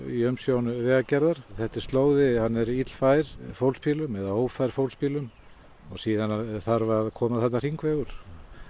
í umsjón Vegagerðar þetta er slóði hann er illfær fólksbílum eða ófær fólksbílum það þarf að koma þarna hringvegur